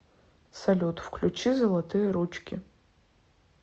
салют включи золотые ручки